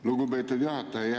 Lugupeetud juhataja!